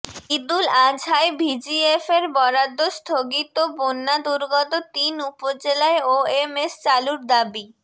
ঈদুল আজহায় ভিজিএফের বরাদ্দ স্থগিত বন্যাদুর্গত তিন উপজেলায় ওএমএস চালুর দাবি